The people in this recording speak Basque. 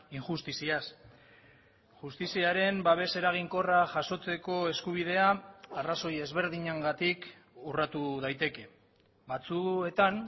injustiziaz justiziaren babes eraginkorra jasotzeko eskubidea arrazoi ezberdinengatik urratu daiteke batzuetan